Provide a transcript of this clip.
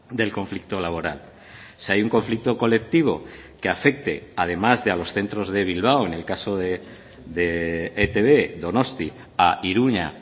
del conflicto laboral si hay un conflicto colectivo que afecte además de a los centros de bilbao en el caso de etb donostia a iruña